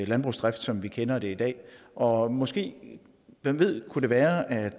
landbrugsdrift som vi kender det i dag og måske hvem ved kunne det være at